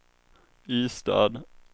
Ystad